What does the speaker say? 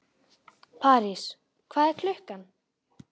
París, hvað er klukkan?